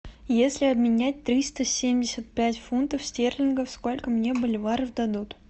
если обменять триста семьдесят пять фунтов стерлингов сколько мне боливаров дадут